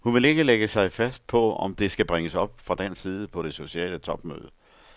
Hun vil ikke lægge sig fast på, om det skal bringes op fra dansk side på det sociale topmøde.